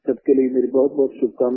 सबके लिए मेरी बहुतबहुत शुभकामना